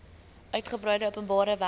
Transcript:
uitgebreide openbare werke